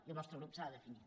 i el nostre grup s’ha de definir